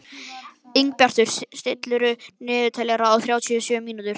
Ingibjartur, stilltu niðurteljara á þrjátíu og sjö mínútur.